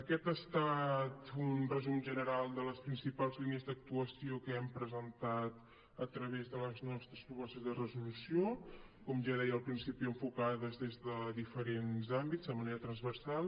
aquest ha estat un resum general de les principals línies d’actuació que hem presentat a través de les nostres propostes de resolució com ja deia al principi enfocades des de diferents àmbits de manera transversal